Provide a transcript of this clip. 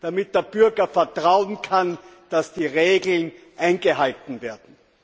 damit der Bürger darauf vertrauen kann, dass die Regeln eingehalten werden.